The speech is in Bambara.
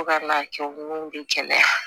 Fo ka n'a kɛ mun bɛ kɛnɛya